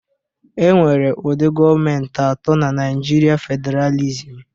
E nwere ụdi gọmentị atọ na naijiria fedralisịm.